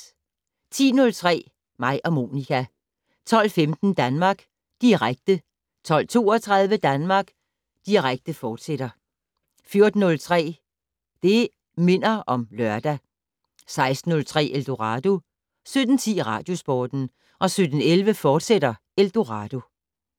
10:03: Mig og Monica 12:15: Danmark Direkte 12:32: Danmark Direkte, fortsat 14:03: Det' Minder om Lørdag 16:03: Eldorado 17:10: Radiosporten 17:11: Eldorado, fortsat